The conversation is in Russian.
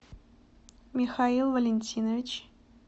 михаил валентинович